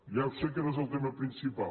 ja sé que no és el tema principal